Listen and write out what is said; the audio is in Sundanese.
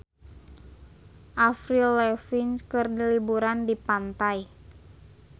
Avril Lavigne keur liburan di pantai